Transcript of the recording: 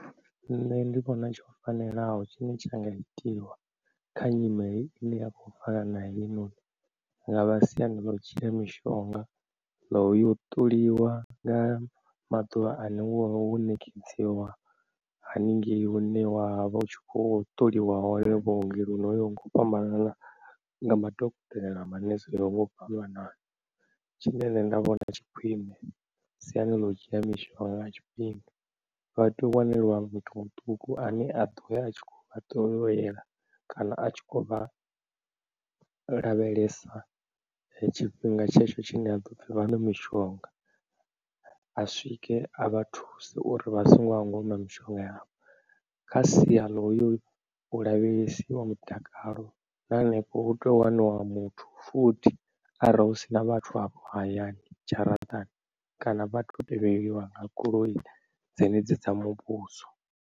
Nṋe ndi vhona tsho fanelaho tshine tsha nga itiwa kha nyimele ine ya kho fana na heinoni, hu nga vha siani ḽa u dzhia mishonga, ḽa uyo ṱoliwa nga maḓuvha ane wavha wo ṋekedziwa haningei hune wavha u tshi kho ṱoliwa hone vhuongeloni ho yaho nga u fhambanana nga madokotela maṋese oyaho nga u fhambanana. Tshine nṋe nda vhona tshi khwine siani ḽa u dzhia mishonga nga tshifhinga, vha tea u wanelwa muthu muṱuku ane a ḓo ya a tshi kho to yo ṱolela kana atshi kho vha lavhelesa tshifhinga tshetsho tshine ha ḓopfhi vha ṅwe mishonga a swike a vha thuse uri vha songo hangwa u ṅwa mishonga yavho, kha sia ḽa uyo u lavhelesiwa mutakalo na henefho hu tea waniwa muthu futhi arali husina vhathu hafho hayani dzharaṱani, kana vhato tevheliwa nga goloi dzenedzi dza muvhuso.